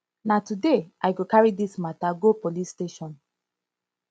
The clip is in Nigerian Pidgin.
na today i go carry dis mata go police station